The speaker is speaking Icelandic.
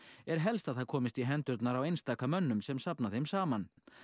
er helst að það komist í hendurnar á einstaka mönnum sem safna þeim saman